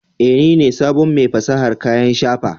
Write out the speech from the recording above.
Eh, ni ne sabon mai fasahar kayan shafa